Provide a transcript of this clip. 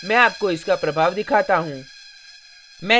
मैं आपको इसका प्रभाव दिखाता हूँ